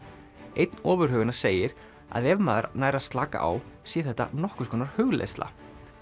einn ofurhuganna segir að ef maður nær að slaka á sé þetta nokkurs konar hugleiðsla